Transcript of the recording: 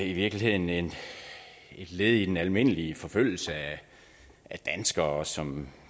i virkeligheden et led i den almindelige forfølgelse af danskere som